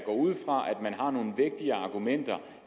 ud fra at man har nogle vægtige argumenter